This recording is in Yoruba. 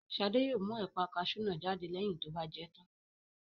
Shade yóò mú ẹ̀pà kasú náà jáde lẹ́yìn tó bá jẹ tán